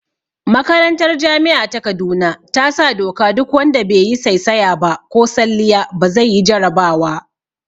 Makarantar jami'a ta kaduna ta sa doka duk wanda be yi saisaya ba ko salliya ba zai yi jarabawa